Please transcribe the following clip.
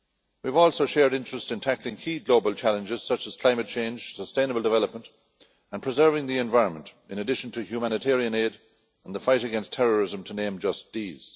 We also have shared interests in tackling key global challenges such as climate change, sustainable development and preserving the environment, in addition to humanitarian aid and the fight against terrorism, to name just these.